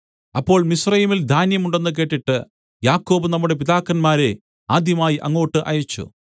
അപ്പോൾ മിസ്രയീമിൽ ധാന്യം ഉണ്ടെന്ന് കേട്ടിട്ട് യാക്കോബ് നമ്മുടെ പിതാക്കന്മാരെ ആദ്യമായി അങ്ങോട്ട് അയച്ചു